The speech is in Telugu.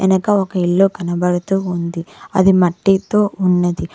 వెనక ఒక ఇల్లు కనబడుతూ ఉంది అది మట్టితో ఉన్నది.